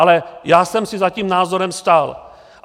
Ale já jsem si za tím názorem stál.